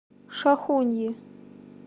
шахуньи